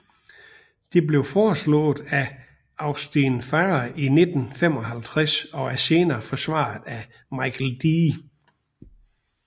Det blev foreslået af Austin Farrer i 1955 og er senere forsvaret af Michael D